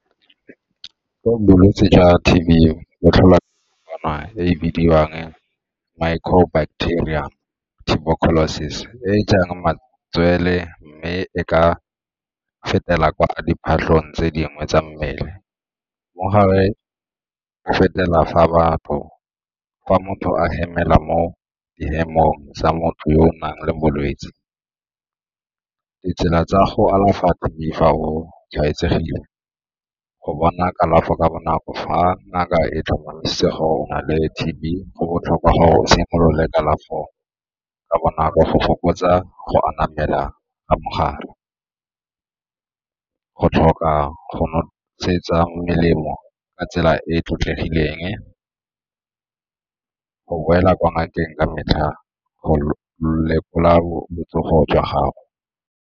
Ke bolwetse jwa T_B bo tlholwa e e bidiwang microbacterium tuberculosis e e jang matswele mme e ka fetela ko gare ga diphatlhong tse dingwe tsa mmele. Mogare o fetela fa motho a hemela mo di tsa motho yo o nang le bolwetse. Ditsela tsa go alafa ke fa o tshwaetsegile, go bona kalafo ka bonako fa ngaka e tlhomamisitse gore o nale T_B go botlhokwa gore o simolole kalafo ka bonako, go fokotsa go anamela ka mogare, go tlhoka go nosetsa melemo ka tsela e e tlotlegileng, go boela kwa ngakeng ka metlha go lekola botsogo jwa gago.